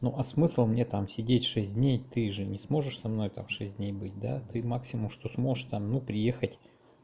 ну а смысл мне там сидеть шесть дней ты же не сможешь со мной там шесть дней быть да ты максимум что сможешь там ну приехать